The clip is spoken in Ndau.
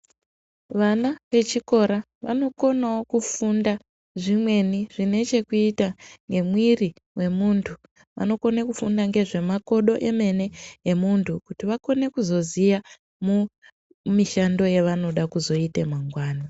Vana vechikora vanokonawo kufunda zvimweni, zvinechekuyita ngemwiri wemuntu. Vanokone kufunda ngezvemakodo emene, emuntu, kuti vakone kuzoziya mo, mishando yavanoda kuzoyite mangwana.